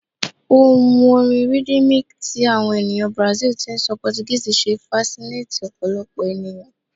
Ohun orin rhythmic ti awọn eniyan Brazil ti n sọ Portuguese ṣe fasinates ọpọlọpọ eniyan